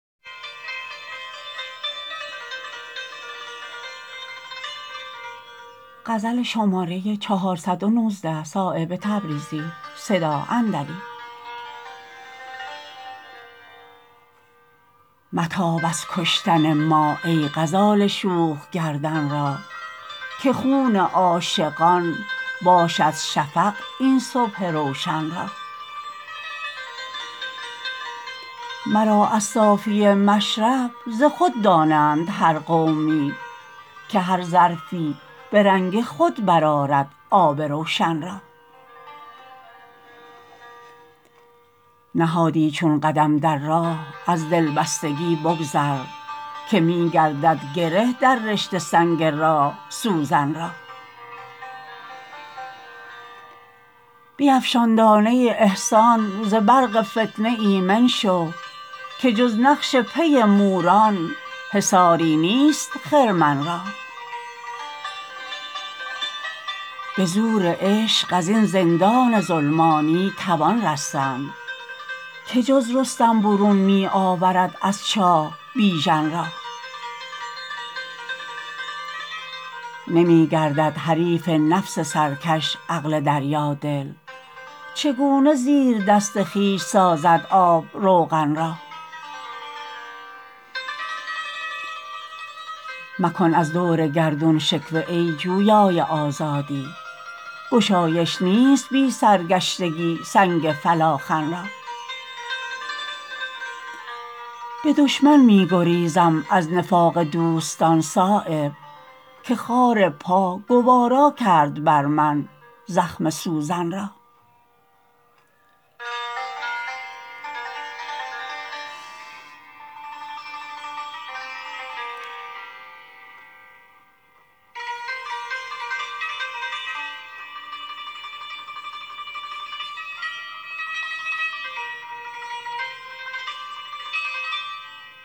متاب از کشتن ما ای غزال شوخ گردن را که خون عاشقان باشد شفق این صبح روشن را مرا از صافی مشرب ز خود دانند هر قومی که هر ظرفی به رنگ خود برآرد آب روشن را نهادی چون قدم در راه از دلبستگی بگذر که می گردد گره در رشته سنگ راه سوزن را بیفشان دانه احسان ز برق فتنه ایمن شو که جز نقش پی موران حصاری نیست خرمن را به زور عشق ازین زندان ظلمانی توان رستن که جز رستم برون می آورد از چاه بیژن را نمی گردد حریف نفس سرکش عقل دریا دل چگونه زیر دست خویش سازد آب روغن را مکن از دور گردون شکوه ای جویای آزادی گشایش نیست بی سرگشتگی سنگ فلاخن را به دشمن می گریزم از نفاق دوستان صایب که خار پا گوارا کرد بر من زخم سوزن را